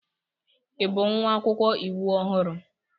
Ị bụ nwa akwụkwọ iwu ọhụrụ?